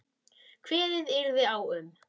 Kveðið yrði á um